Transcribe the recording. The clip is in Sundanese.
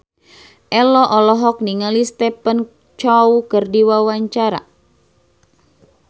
Ello olohok ningali Stephen Chow keur diwawancara